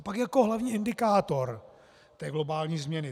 A pak jako hlavní indikátor té globální změny.